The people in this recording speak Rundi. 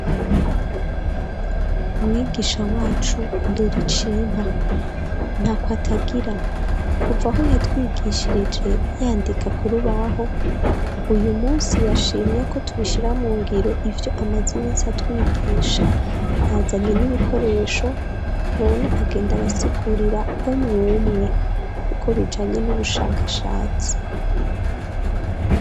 Mwigisha wacu doricimpa ntako atagira kuva aho yatwigishirije yandika kurubaho uyu munsi yashimye ko tubishira mu ngiro ivyo amazini si atwigisha yazanye n'ibikoresho none agenda arasigurira omwumwe kuko bijanye n'ubushakashatsi.